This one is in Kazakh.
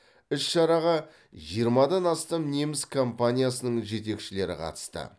іс шараға жиырмадан астам неміс компаниясының жетекшілері қатысты